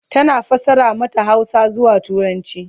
tana fassara mata Hausa zuwa turanci